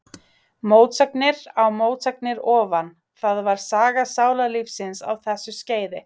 Mótsagnir á mótsagnir ofan, það var saga sálarlífsins á þessu skeiði.